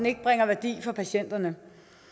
ikke bringer værdi for patienterne